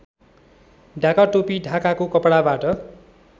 ढाकाटोपी ढाकाको कपडाबाट